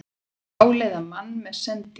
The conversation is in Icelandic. Dáleiða mann með sendingunum